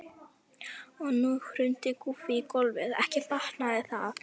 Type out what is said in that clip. Og nú hrundi Guffi í gólfið, ekki batnaði það!